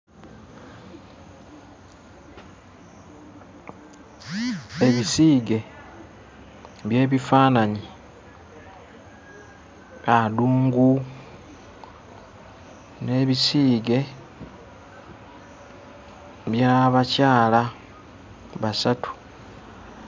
Ebisiige eby'ebifaananyi, adungu n'ebisiige by'abakyala basatu.